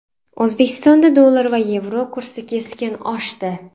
O‘zbekistonda dollar va yevro kursi keskin oshdi.